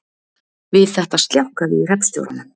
Við þetta sljákkaði í hreppstjóranum